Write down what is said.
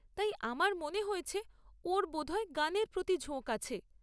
তাই আমার মনে হয়েছে ওর বোধহয় গানের প্রতি ঝোঁক আছে।